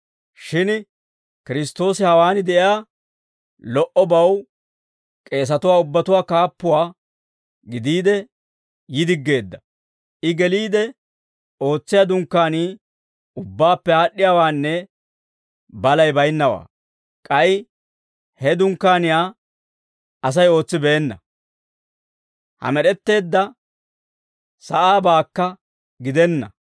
Shin Kiristtoosi hawaan de'iyaa lo"obaw k'eesatuwaa ubbatuwaa kaappuwaa gidiide yi diggeedda. I geliide ootsiyaa Dunkkaanii ubbaappe aad'd'iyaawaanne balay baynnawaa; k'ay he Dunkkaaniyaa Asay ootsibeenna; ha med'etteedda sa'aabaakka gidenna.